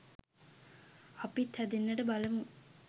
අපිත් හැදෙන්නට බලමු.